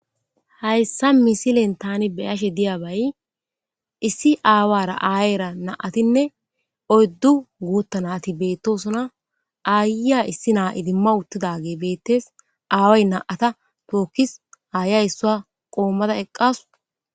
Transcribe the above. Hayssa misilen thaani be7ashe diyaabay issi aawaara aayeera na7athinne oyddu guutha naathi beeththoosona; aayyiya issi naa idimawuththidaagee beeththees; aaway naa7atha thookis;aayyiya isssuwa qoommada eqqaas.